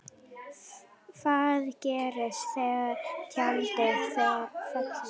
Hvað gerist þegar tjaldið fellur?